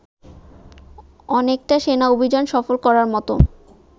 অনেকটা সেনা অভিযান সফল করার মতো